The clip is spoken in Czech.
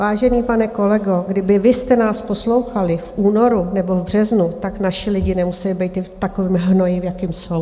Vážený pane kolego, kdyby vy jste nás poslouchali v únoru nebo v březnu, tak naši lidi nemuseli být v takovém hnoji, v jakém jsou.